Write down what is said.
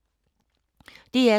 DR2